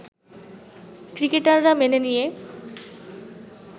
ক্রিকেটাররা মেনে নিয়ে